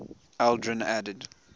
aldrin added